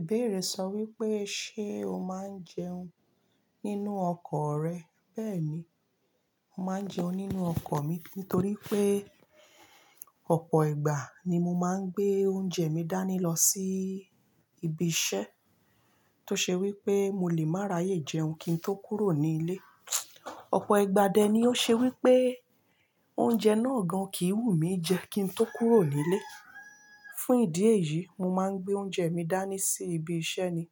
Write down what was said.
Ìbéèrè sọ wípé, "Ṣé o máa ń jẹun nínú ọkọ̀ rẹ?" Bẹ́ẹ̀ni, mo máa ń jẹun nínú ọkọ̀ mi nítorí pé ọ̀pọ̀ ìgbà ni mo máa ń gbé oúnjẹ mi dání lọ sí ibi iṣẹ́ ti o ṣe wípé mo lè máa ráyè jẹun kí n tó kúrò ní ilé. Ọ̀pọ̀ ìgbà dẹ ni ó ṣe wípé oúnjẹ náà gan kìí wù mí jẹ kí n tó kúrò ní ilé. Fún ìdí èyí, mo máa ń gbé oúnjẹ mi dání sí ibi iṣẹ́ ni.